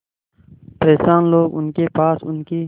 परेशान लोग उनके पास उनकी